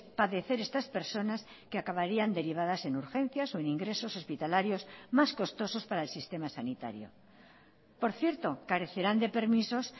padecer estas personas que acabarían derivadas en urgencias o en ingresos hospitalarios más costosos para el sistema sanitario por cierto carecerán de permisos